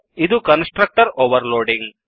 ಇದು constructor over loading